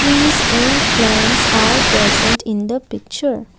trees and plants are present in the picture.